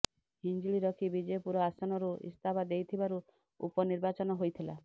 ହିଞ୍ଜିଳି ରଖି ବିଜେପୁର ଆସନରୁ ଇସ୍ତଫା ଦେଇଥିବାରୁ ଉପନିର୍ବାଚନ ହୋଇଥିଲା